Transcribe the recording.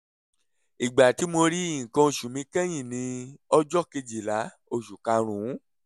ìgbà tí mo rí nǹkan oṣù mi kẹ́yìn ni ọjọ́ kejìlá oṣù karùn-ún